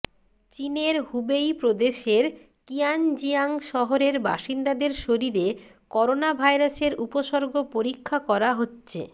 চীনের হুবেই প্রদেশের কিয়ানজিয়াং শহরের বাসিন্দাদের শরীরে করোনাভাইরাসের উপসর্গ পরীক্ষা করা হচ্ছে